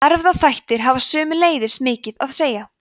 erfðaþættir hafa sömuleiðis mikið að segja